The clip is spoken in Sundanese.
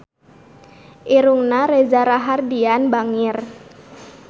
Irungna Reza Rahardian bangir